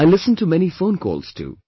I listen to many phone calls too